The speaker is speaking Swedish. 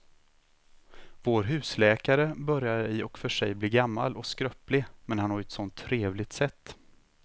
Vår husläkare börjar i och för sig bli gammal och skröplig, men han har ju ett sådant trevligt sätt!